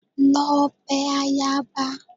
Lọ bẹ ayaba!